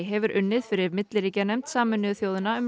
hefur unnið fyrir milliríkjanefnd Sameinuðu þjóðanna um